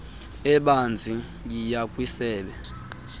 ebanzi yiya kwisebe